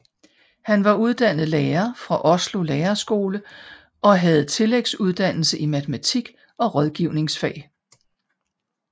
Han var uddannet lærer fra Oslo lærerskole og havde tillægsuddannelse i matematik og rådgivningsfag